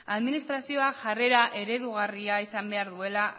administrazioak jarrera eredugarria izan behar duela